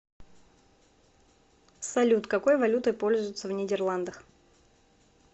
салют какой валютой пользуются в нидерландах